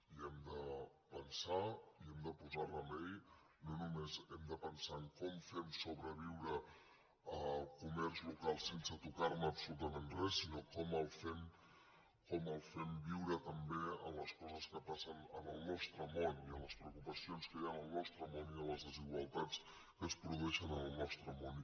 hi hem de pensar i hi hem de posar remei no només hem de pensar en com fem sobreviure el comerç local sense tocar ne absolutament res sinó com el fem viure també amb les co ses que passen en el nostre món i amb les preocupacions que hi ha en el nostre món i amb les desigualtats que es produeixen en el nostre món